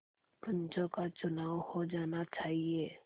पंचों का चुनाव हो जाना चाहिए